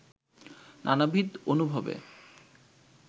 নানাবিধ অনুভবে